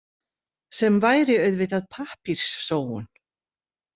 Sem væri auðvitað pappírssóun.